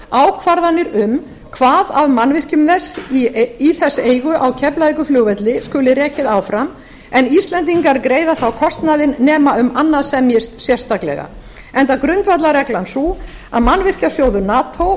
ákvarðanir um hvað af mannvirkjum í þess eigu á keflavíkurflugvelli skuli rekið áfram en íslendingar greiða þá kostnaðinn nema um annað semjist sérstaklega enda grundvallarreglan sú að mannvirkjasjóður mati